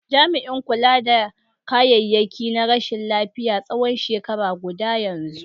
Jami'in kula da kayayyaki na rashin lafiya tsawon shekara guda yanzu.